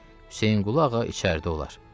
Hüseynqulu ağa içəridə olar.